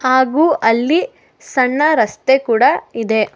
ಹಾಗು ಅಲ್ಲಿ ಸಣ್ಣ ರಸ್ತೆ ಕೂಡ ಇದೆ.